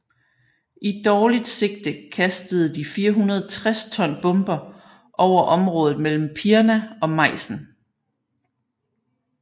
I dårligt sigte kastede de 460 ton bomber over området mellem Pirna og Meissen